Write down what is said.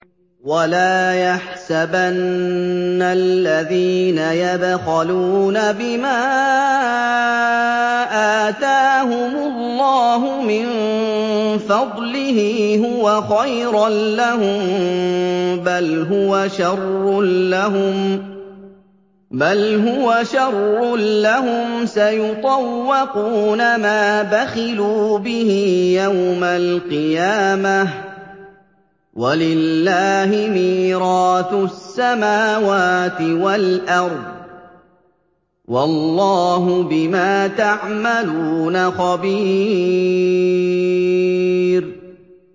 وَلَا يَحْسَبَنَّ الَّذِينَ يَبْخَلُونَ بِمَا آتَاهُمُ اللَّهُ مِن فَضْلِهِ هُوَ خَيْرًا لَّهُم ۖ بَلْ هُوَ شَرٌّ لَّهُمْ ۖ سَيُطَوَّقُونَ مَا بَخِلُوا بِهِ يَوْمَ الْقِيَامَةِ ۗ وَلِلَّهِ مِيرَاثُ السَّمَاوَاتِ وَالْأَرْضِ ۗ وَاللَّهُ بِمَا تَعْمَلُونَ خَبِيرٌ